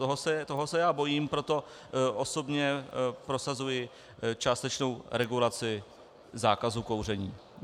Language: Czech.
Toho se já bojím, proto osobně prosazuji částečnou regulaci zákazu kouření.